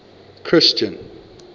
christian